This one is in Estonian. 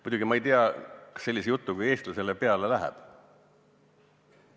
Muidugi ma ei tea, kas selline jutt eestlasele peale läheb.